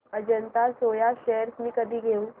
Ajanta soya shares मी कधी घेऊ